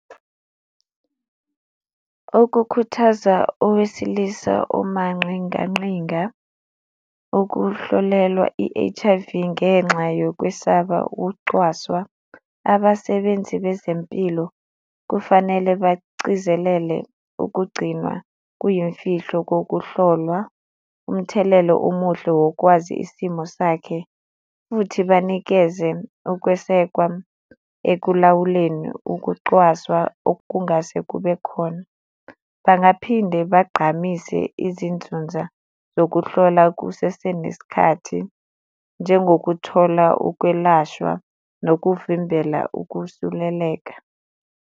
Ukukhuthaza owesilisa omanqinganqinga ukuhlolelwa i-H_I_V ngenxa yokwesaba ukucwaswa, abasebenzi bezempilo kufanele bacizelele ukugcinwa kuyimfihlo kokuhlolwa, umthelelo omuhle wokwazi isimo sakhe, futhi banikeze ukwesekwa ekulawuleni ukucwaswa okungase kube khona. Bangaphinde bagqamise izinzunza nokuhlola kusese nesikhathi njengokuthola, ukwelashwa nokuvimbela ukusuleleka.